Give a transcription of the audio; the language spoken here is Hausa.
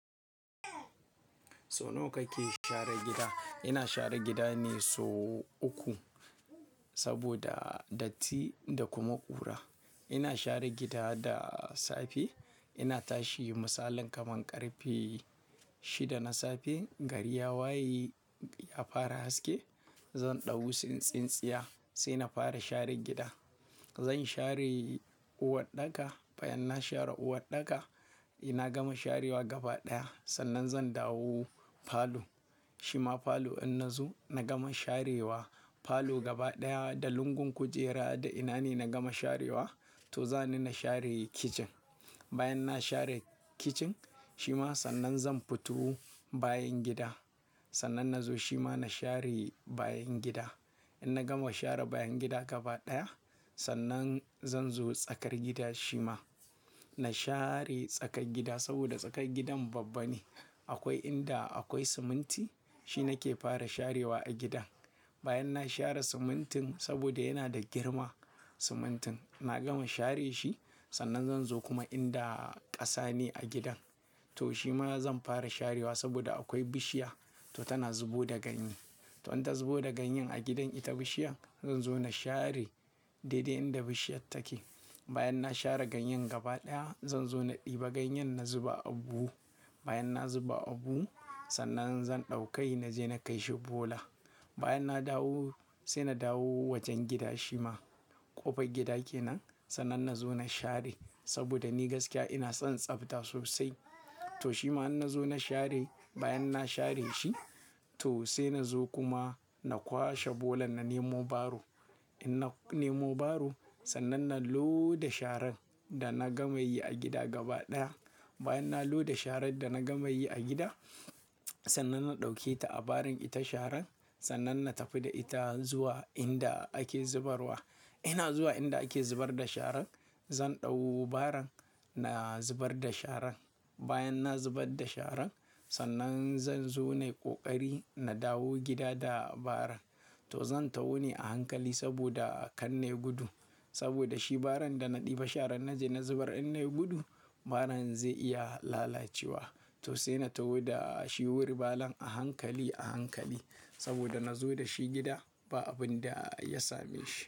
So nawa kake share gida? Ina share gida ne sau uku saboda datti da kuma ƙura. Ina share gida da safe, ina tashi, misalin kamar ƙarfe shida na safe, gari ya waye, ya fara haske, zan ɗauki tsintsinya sai na fara share gida. Zan share uwarɗaka, bayan na share uwarɗaka, in na gama sharewa gaba ɗaya, sannan zan dawo falo. Shima falo in na zo na gama sharewa, falo gaba ɗaya da lungun kujera da ina ne na gama sharewa, to zani na share kicin. Bayan na share kicin shima sannan zan fito bayan gida. Sannan na zo shima na share bayan gida. In na gama share bayan gida gaba ɗaya, sannan zan zo tsakar gida shima. Na share tsakar gida saboda tsakar gidan babba ne. Akwai inda akwai siminti, shi nake fara sharewa a gida. Bayan na share simintin saboda yana da girma simintin, na gama share shi sannan zan zo kuma inda ƙasa ne a gidan. To shima zan fara sharewa saboda akwai bishiya, to tana zubo da ganye. To in ta zubo da ganye a gidan ita bishiyar, zan zo na share daidai inda bishiyar take. Bayan na share ganyen gaba ɗaya, zan zo na ɗiba ganyen na zuba a buhu. Bayan na zuba a buhu, sannan zan ɗaukai na je na kai shi bola. Bayan na dawo sai na dawo wajen gida shima ƙofar gida kenan sannan na zo na share saboda ni gaskiya ina son tsafta sosai. To shima in na zo na share, bayan na share shi to sai na zo kuma na kwashe bolan na nemo baro. In na nemo baro, sannan na loda sharan da na gama yi a gida gaba ɗaya. Bayan na loda sharan da na gama yi a gida, sannan na ɗauke ta a barin ita sharan sannan na tafi da ita zuwa inda ake zubarwa. Ina zuwa inda ake zubar da sharan, zan ɗau baran na zubar da sharan. Bayan na zubar da sharan, sannan zan zo nai ƙoƙari na dawo gida da baran. To zan taho ne a hankali saboda kan nai gudu. Saboda shi baran da na ɗiba sharan na je na zubar in nai gudu, baran zai iya lalacewa. To sai na taho da shi wul baran a hankali, a hankali saboda na zo da shi gida ba abin da ya same shi.